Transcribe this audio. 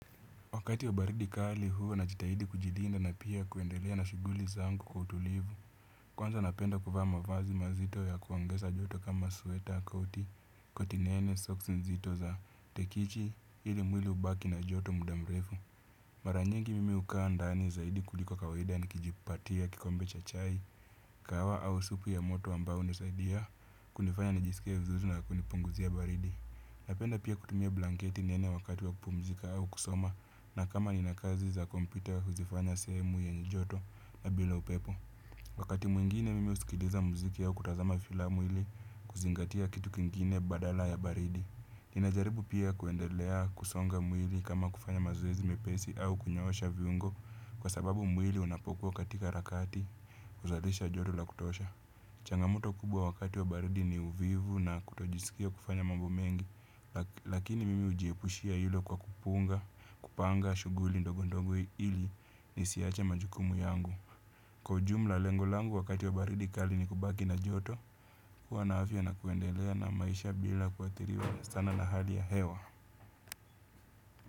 Wakati wa baridi kali huwa na jitahidi kujilinda na pia kuendelea na shughuli zangu kwa utulivu. Kwanza napenda kuvaa mavazi mazito ya kuongeza joto kama sweta, koti, koti nene, socks nzito za tekichi, ili mwili ubaki na joto muda mrefu. Mara nyingi mimi hukaa ndani zaidi kuliko kawaida nikijipatia, kikombe cha chai, kahawa au supu ya moto ambao hunisaidia, kunifanya nijisikie vizuri na kunipunguzia baridi. Napenda pia kutumia blanketi nene wakati wa kupumzika au kusoma na kama nina kazi za kompyuta huzifanya sehemu yenye joto na bila upepo. Wakati mwingine mimi husikiliza mziki au kutazama filamu ili kuzingatia kitu kingine badala ya baridi. Ninajaribu pia kuendelea kusonga mwili kama kufanya mazoezi mepesi au kunyoosha viungo kwa sababu mwili unapokuwa katika harakati huzalisha joto la kutosha. Changamoto kubwa wakati wa baridi ni uvivu na kutojisikia kufanya mambo mengi. Lakini mimi hujiepushia hilo kwa kupunga, kupanga, shughuli ndogo ndongo ili nisiache majukumu yangu. Kwa ujumla lengo langu wakati wa baridi kali ni kubaki na joto. Kwa na afya na kuendelea na maisha bila kuathiriwa sana na hali ya hewa.